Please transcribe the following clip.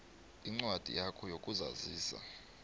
incwadi yakho yokuzazisa